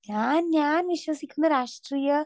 speaker 2 ഞാൻ ഞാൻ വിശ്വസിക്കുന്ന രാഷ്ട്രീയ